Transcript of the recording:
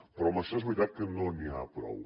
però amb això és veritat que no n’hi ha prou